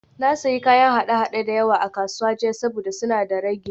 Na sayi kayan haɗe-haɗe da yawa a kasuwa jiya saboda suna da ragi